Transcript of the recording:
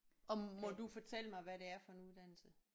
Og må du fortælle mig hvad det er for en uddannelse